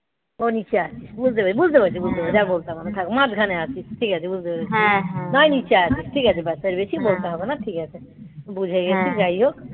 ও নীচে আছে বুঝতে পেরেছি. বুঝতে পারছি. বুঝতে পেরেছি. যা বলতে হবে না. থাক. মাঝখানে আছি. ঠিক আছে. বুঝতে পেরেছি. ও নীচে আছে ঠিক আছে. ব্যাস. আর বেশি বলতে হবে না. ঠিক আছে বুঝে গেছি যাই হোক